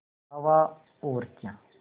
हवा और क्या